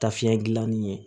Ta fiɲɛ gilanni ye